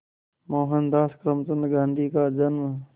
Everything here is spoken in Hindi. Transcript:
मोहनदास करमचंद गांधी का जन्म